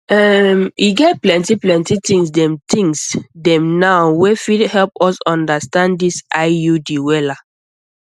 ehm e get plenty plenty things dem things dem now wey fit help us understand this iud wella